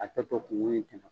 A tɛ sɔn